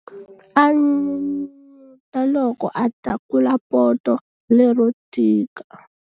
A n'unun'uta loko a tlakula poto lero tika.